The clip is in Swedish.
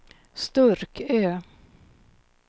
Sturkö